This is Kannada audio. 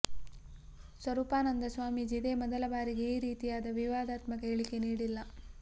ಸ್ವರೂಪಾನಂದ ಸ್ವಾಮೀಜಿ ಇದೇ ಮೊದಲ ಬಾರಿಗೆ ಈ ರೀತಿಯಾದ ವಿವಾದಾತ್ಮಕ ಹೇಳಿಕೆ ನೀಡಿಲ್ಲ